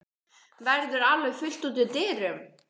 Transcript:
Verður alveg fullt út úr dyrum?